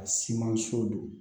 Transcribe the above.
A simanso don